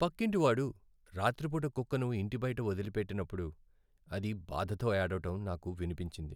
పక్కింటివాడు రాత్రిపూట కుక్కను ఇంటి బయట వదిలిపెట్టినప్పుడు అది బాధతో ఏడవడం నాకు వినిపించింది.